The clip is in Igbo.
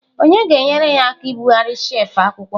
Onye ga-enyere ya aka ibugharị shelf akwụkwọ?